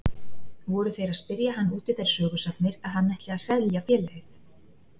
Voru þeir að spyrja hann út í þær sögusagnir að hann ætli að selja félagið.